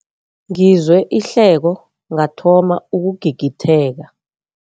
Ngizwe ihleko ngathoma ukugigitheka.